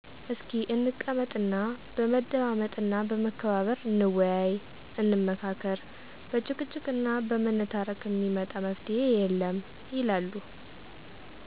"እስኪ እንቀመጥ እና በመደማመጥ እና በመከባበር እንወያይ፣ እንመካከር በጭቅጭቅ እና በመነታረክ እሚመጣ መፍትሄ የለም" ይላሉ።